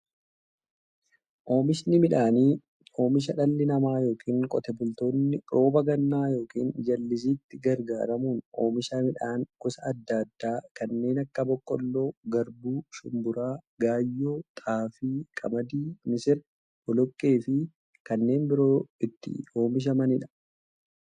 Oomishni midhaanii, oomisha dhalli namaa yookiin Qotee bultoonni roba gannaa yookiin jallisiitti gargaaramuun oomisha midhaan gosa adda addaa kanneen akka; boqqoolloo, garbuu, shumburaa, gaayyoo, xaafii, qamadii, misira, boloqqeefi kanneen biroo itti oomishamaniidha.